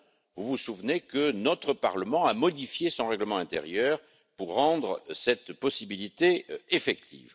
Vous vous souvenez que notre Parlement a modifié son règlement intérieur pour rendre cette possibilité effective.